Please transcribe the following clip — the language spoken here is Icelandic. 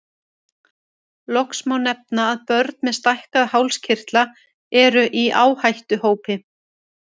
Loks má nefna að börn með stækkaða hálskirtla eru í áhættuhópi.